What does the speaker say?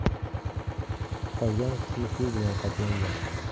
Qolgan qismi suv bilan qoplangan.